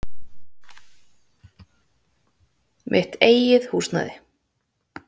Mitt eigið húsnæði.